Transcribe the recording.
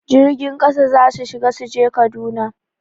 Jirgin ƙasa za su shiga su je Kaduna